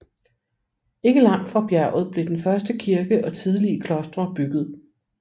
Ikke langt fra bjerget blev den første kirke og tidlige klostre bygget